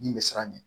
Min bɛ siran ɲɛ